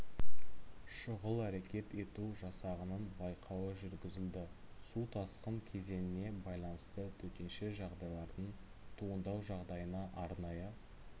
шұғыл әрекет ету жасағының байқауы жүргізілді су тасқын кезеңіне байланысты төтенше жағдайлардың туындау жағдайына арнайы